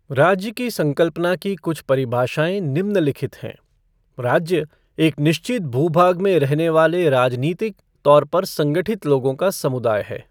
राज्य की संकल्पना की कुछ परिभाषाऐं निम्नलिखित हैं राज्य एक निश्चित भूभाग में रहने वाले राजनीतिक तौर पर संगठित लोगों का समुदाय है।